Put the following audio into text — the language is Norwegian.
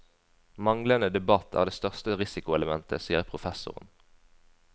Manglende debatt er det største risikoelementet, sier professoren.